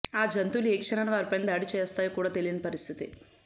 ఆ జంతువులు ఏ క్షణాన వారిపైన దాడి చేస్తాయో కూడా తెలియని పరిస్థితి